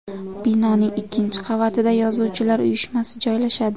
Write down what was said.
Binoning ikkinchi qavatida Yozuvchilar uyushmasi joylashadi.